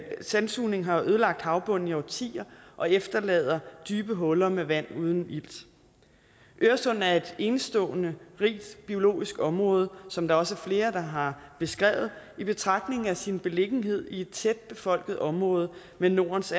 sandsugning har ødelagt havbunden i årtier og efterlader dybe huller med vand uden ilt øresund er et enestående rigt biologisk område som der også er flere der har beskrevet i betragtning af sin beliggenhed i et tæt befolket område med nordens